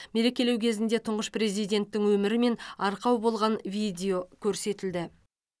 мерекелеу кезінде тұңғыш президенттің өмірі мен арқау болған видео көрсетілді